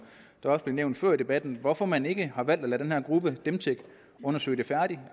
det også blev nævnt før i debatten hvorfor man ikke har valgt at lade den her gruppe dem tech undersøge det færdigt